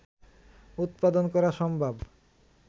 উৎপাদন করা সম্ভব